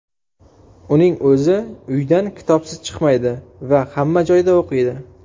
Uning o‘zi uydan kitobsiz chiqmaydi va hamma joyda o‘qiydi.